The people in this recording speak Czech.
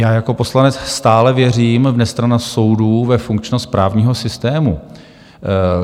Já jako poslanec stále věřím v nestrannost soudů, ve funkčnost právního systému.